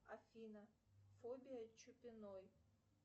афина фобия чупиной